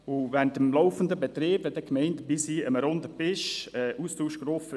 Und während des laufenden Betriebs möchte die Gemeinde dann am Runden Tisch mit dabei sein;